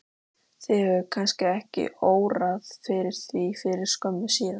Þig hefur kannski ekki órað fyrir því fyrir skömmu síðan?